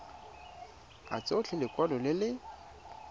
a tshotse lekwalo le le